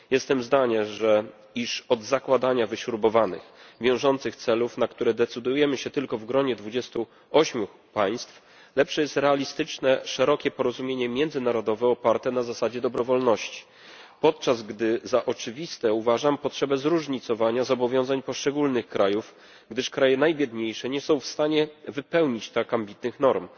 Jestem zdania, iż od zakładania wyśrubowanych wiążących celów, na które decydujemy się tylko w gronie 28 państw, lepsze jest realistyczne szerokie porozumienie międzynarodowe oparte na zasadzie dobrowolności. Jednocześnie za oczywistą uważam potrzebę zróżnicowania zobowiązań poszczególnych krajów, gdyż kraje najbiedniejsze nie są w stanie wypełnić tak ambitnych norm.